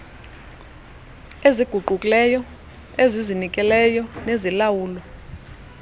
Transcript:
eziguqukileyo ezizinikeleyo nezilawulwa